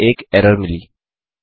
अब हमें एक एरर मिली